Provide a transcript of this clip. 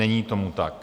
Není tomu tak.